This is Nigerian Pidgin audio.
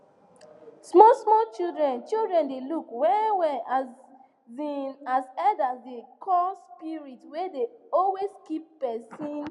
small small children children dey look well well um as elders dey call spirits wey dey always keep person